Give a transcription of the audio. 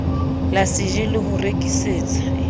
la jse le ho rekisetsa